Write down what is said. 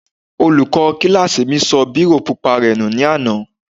Olùkọ́ kílásì mi sọ bírò pupa rẹ̀ nù ní àná